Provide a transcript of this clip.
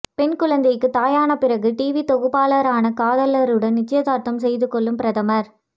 பெண் குழந்தைக்கு தாயான பிறகு டிவி தொகுப்பாளரான காதலருடன் நிச்சயதார்த்தம் செய்துகொள்ளும் பிரதமர்